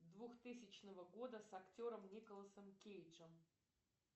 двухтысячного года с актером николасом кейджем